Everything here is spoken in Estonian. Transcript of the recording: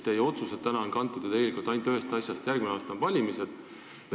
Teie otsused on tegelikult kantud ju ainult ühest asjast: järgmine aasta on valimised.